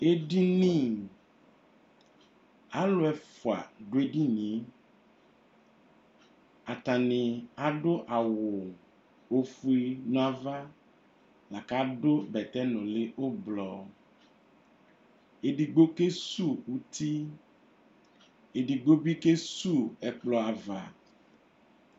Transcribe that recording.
Ɛdini, alʋ ɛfua dʋ edini e Atani adʋ awʋ ofue nava la kʋ adʋ bɛtɛ nʋli ʋblʋɔ Ɛdigbo kesuwu uti, ɛdigbo bi kesuwu ɛkplɔ ava